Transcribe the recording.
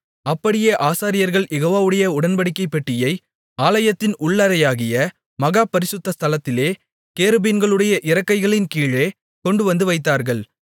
அப்படியே ஆசாரியர்கள் யெகோவாவுடைய உடன்படிக்கைப் பெட்டியை ஆலயத்தின் உள் அறையாகிய மகா பரிசுத்த ஸ்தலத்திலே கேருபீன்களுடைய இறக்கைகளின்கீழே கொண்டுவந்து வைத்தார்கள்